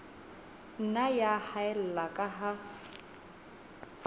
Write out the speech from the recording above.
nna ya haella ka ha